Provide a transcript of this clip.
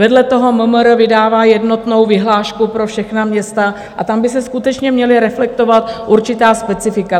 Vedle toho MMR vydává jednotnou vyhlášku pro všechna města a tam by se skutečně měla reflektovat určitá specifika.